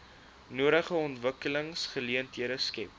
nodige ontwikkelingsgeleenthede skep